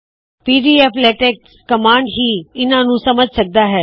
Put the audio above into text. PDF LaTeX command ਹੀ ਇਹਨਾ ਨੂੰ ਸਮਝ ਸਕਦਾ ਹੈ